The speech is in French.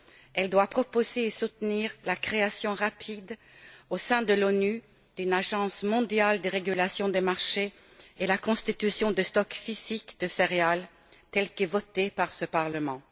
Elle doit proposer et soutenir la création rapide, au sein de l'ONU, d'une agence mondiale de régulation des marchés et la constitution de stocks physiques de céréales telle que votée par ce Parlement.